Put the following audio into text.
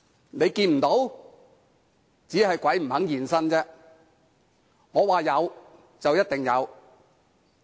如果看不到，只是鬼不願意現身，他們說有便一定有。